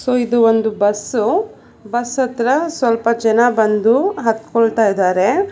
ಇದು ಒಂದು bus bus ಅತ್ರ ಸ್ವಲ್ಪ ಜನ ಬಂದು ಹತ್ಕೊಳ್ತಾ ಇದ್ದಾರೆ.